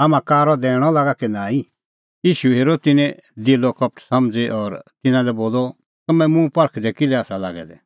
हाम्हां कारअ दैणअ लागा कि नांईं ईशू हेरअ तिन्नें दिलो कपट समझ़ी और तिन्नां लै बोलअ तम्हैं मुंह परखदै किल्है आसा लागै दै